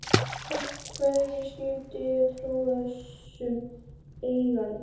Af hverju skyldi ég trúa þessum eiganda?